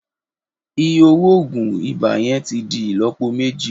Iye owo oogun iba yẹn ti di ilọpo meji.